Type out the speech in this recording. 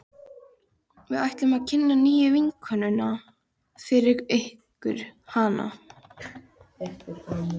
Við ætluðum að kynna nýju vinnukonuna fyrir ykkur, hana